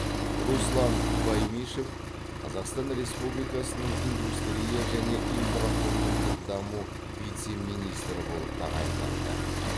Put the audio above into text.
руслан баймишев қазақстан республикасының индустрия және инфрақұрылымдық даму вице министрі болып тағайындалды